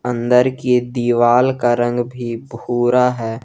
अंदर की दीवाल का रंग भूरा है।